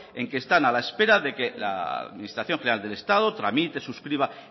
en que están a la espera de que la administración general del estado tramite suscriba